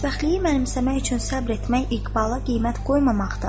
“Xoşbəxtliyi mənimsəmək üçün səbir etmək iqbala qiymət qoymamaqdır.”